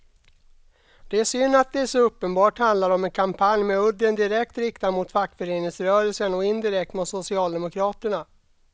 Det är synd att det så uppenbart handlar om en kampanj med udden direkt riktad mot fackföreningsrörelsen och indirekt mot socialdemokraterna.